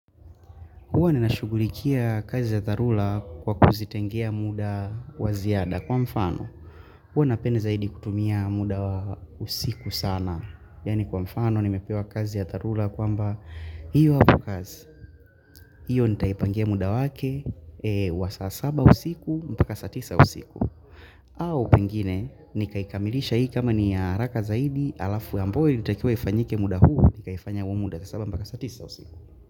Huwa ninashughulikia kazi ya dharula kwa kuzitengea muda wa ziada kwa mfano. Huwa napenda zaidi kutumia muda wa usiku sana. Yaani kwa mfano nimepewa kazi ya dharula kwamba hiyo hapo kazi. Hiyo nitaipangia muda wake wa saa saba usiku mpaka saa tisa usiku. Au pengine nikaikamilisha hii kama ni ya haraka zaidi alafu ambao ilitakiwa ifanyike muda huu nikaifanya huu muda saa saba mpaka saa tisa usiku.